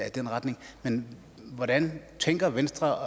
i den retning men hvordan tænker venstre